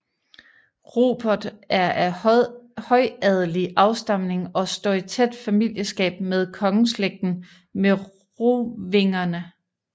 Rupert er af højadelig afstamning og står i tæt familieskab med kongeslægten Merovingerne